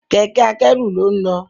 Kẹ̀kẹ́ akẹ́rù lón nlọ